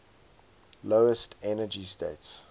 lowest energy state